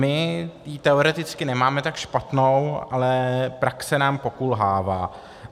My ji teoreticky nemáme tak špatnou, ale praxe nám pokulhává.